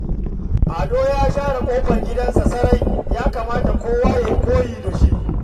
Ado ya share ƙofar gidansa sarai, ya kamata kowa ma ya yi koyi da shi